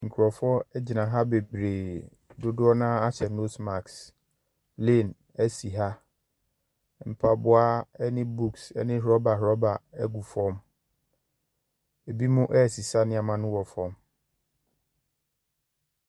Nkurɔfoɔ agyina ha beberee dodoɔ naa ahyɛ nosi masiki plen asi ha mpaboa ɛne bukuus ɛne rɔbarɔba agu fam ebinom ɛsesa nneɛma no wɔ fam.